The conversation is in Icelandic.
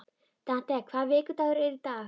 Dante, hvaða vikudagur er í dag?